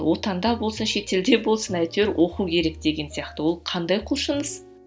отанда болсын шетелде болсын әйтеуір оқу керек деген сияқты ол қандай құлшыныс